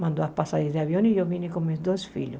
Mandou as passagens de avião e eu vim com meus dois filhos.